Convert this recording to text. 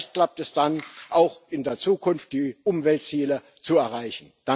Vielleicht klappt es dann auch, in der Zukunft die Umweltziele zu erreichen.